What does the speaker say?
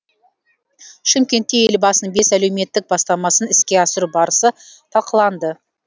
шымкентте елбасының бес әлеуметтік бастамасын іске асыру барысы талқыланды